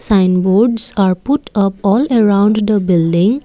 sign boards are put up all around the building.